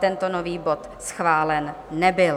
Tento nový bod schválen nebyl.